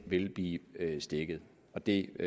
ville blive stækket og det